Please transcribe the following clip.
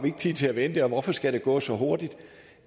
tid til at vente og hvorfor skal det gå så hurtigt